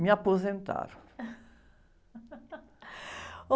Me aposentaram.